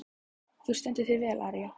Þú stendur þig vel, Aría!